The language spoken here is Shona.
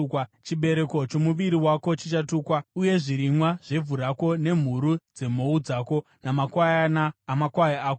Chibereko chomuviri wako chichatukwa, uye zvirimwa zvevhu rako, nemhuru dzemhou dzako namakwayana amakwai ako.